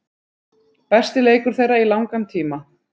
Besti leikur þeirra í langan tíma.